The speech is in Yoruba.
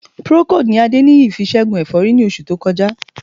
Procold ni Adéníyì fi ṣẹ́gun ẹ̀fọ́rí ní oṣù tó kọjá